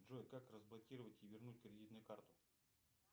джой как разблокировать и вернуть кредитную карту